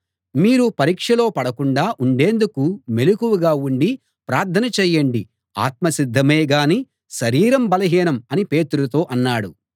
మీరు పరీక్షలో పడకుండా ఉండేందుకు మెలకువగా ఉండి ప్రార్థన చేయండి ఆత్మ సిద్ధమేగానీ శరీరం బలహీనం అని పేతురుతో అన్నాడు